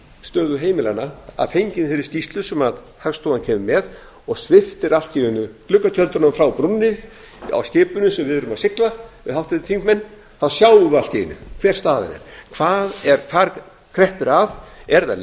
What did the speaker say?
stöðu heimilanna að fenginni þeirri skýrslu sem hagstofan kemur með og sviptir allt í einu gluggatjöldunum frá brúnni á skipinu sem við erum að sigla við háttvirtir þingmenn þá sjáum við allt í einu hver staðan er hvar kreppir að eru það